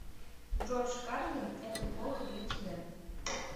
джордж карлин это плохо для тебя